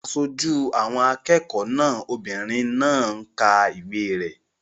Aṣojú àwọn akẹ́kọ̀ọ́ náà obìnrin náà ń ka ìwé rẹ̀